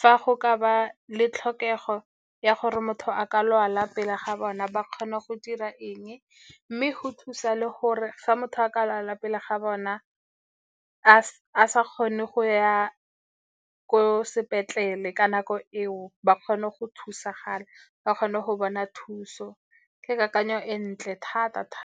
fa go ka ba le tlhokego ya gore motho a ka lwala pele ga bona, ba kgone go dira eng. Mme go thusa le gore fa motho a ka lalwa pele ga bona a sa kgone go ya ko sepetlele ka nako eo, ba kgone go thusagala, ba kgone go bona thuso. Ke kakanyo e ntle thata-thata.